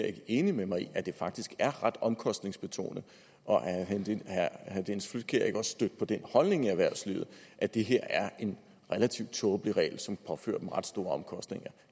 ikke enig med mig i at det faktisk er ret omkostningsbetonet og er herre dennis flydtkjær ikke også stødt på den holdning i erhvervslivet at det her er en relativt tåbelig regel som påfører dem ret store omkostninger